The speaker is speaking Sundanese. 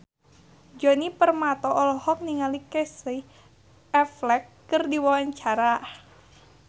Djoni Permato olohok ningali Casey Affleck keur diwawancara